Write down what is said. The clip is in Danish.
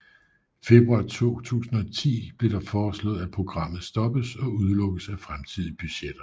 Februar 2010 blev det foreslået at programmet stoppes og udelukkes af fremtidige budgetter